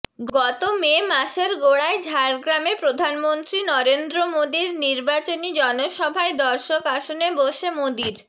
গত মে মাসের গোড়ায় ঝাড়গ্রামে প্রধানমন্ত্রী নরেন্দ্র মোদীর নির্বাচনী জনসভায় দর্শক আসনে বসে মোদীর